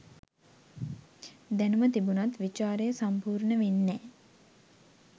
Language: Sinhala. දැණුම තිබුණත් විචාරය සම්පූර්ණ වෙන්නෑ.